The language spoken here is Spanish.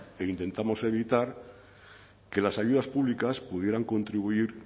e intentamos evitar que las ayudas públicas pudieran contribuir